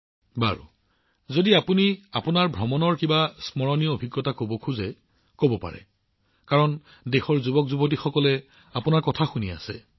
প্ৰধানমন্ত্ৰীঃ আচ্ছা যদি আপুনি বিশেষভাৱে স্মৰণীয় কিবা কব বিচাৰে আপুনি কি কব দেশৰ যুৱকযুৱতীসকলে আপোনাৰ কথা শুনি আছে